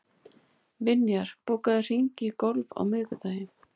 Vinjar, bókaðu hring í golf á miðvikudaginn.